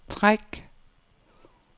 træk